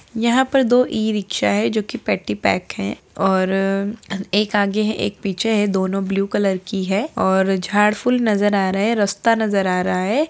यहाँ पर दो ई-रिक्शा है जो की पट्टी पैक है और एक आगे है एक पीछे है दोनों ब्लू कलर की है और झाड़ फूल नजर आ रहे है रस्ता नजर आ रहा है।